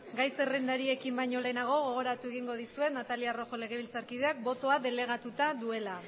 gai zerrendariekin bañolenago gogoratu egingodisuen natalia rojo legebiltsarkideak botoak delegatuta duela